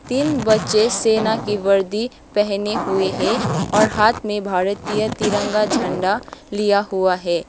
तीन बच्चे सेना की वर्दी पहने हुए हैं और हाथ में भारतीय तिरंगा झंडा लिया हुआ है।